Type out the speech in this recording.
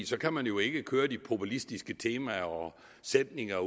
så kan man jo ikke køre med de populistiske temaer og sætninger